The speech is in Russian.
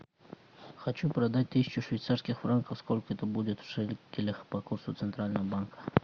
хочу продать тысячу швейцарских франков сколько это будет в шекелях по курсу центрального банка